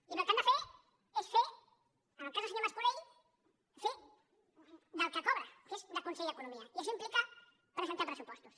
i el que han de fer és fer en el cas del senyor mas·colell fer del que cobra que és de conseller d’eco·nomia i això implica presentar pressupostos